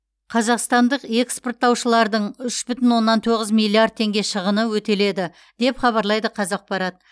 қазақстандық экспорттаушылардың үш бүтін оннан тоғыз миллиард теңге шығыны өтеледі деп хабарлайды қазақпарат